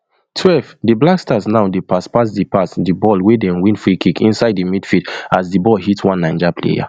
twelve di blackstars now dey pass pass di pass di ball wia dey win freekick inside di midfield as di ball hit one naija player